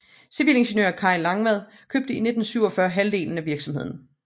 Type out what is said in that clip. Civilingeniør Kay Langvad købte i 1947 halvdelen af virksomheden